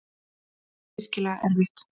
Þetta er virkilega erfitt.